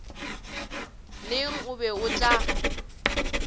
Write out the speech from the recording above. neng o be o tla